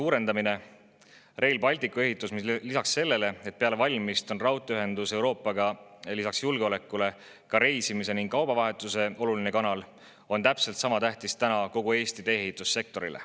Rail Balticu ehitus on tähtis, sest raudteeühendus Euroopaga julgeolekut, aga see on ka reisimise ning kaubavahetuse oluline kanal ning see on täpselt sama tähtis kogu Eesti tee-ehitussektorile.